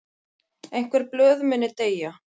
Einhver blöð muni deyja